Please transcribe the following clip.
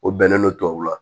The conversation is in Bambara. O bɛnnen don tubabuw ma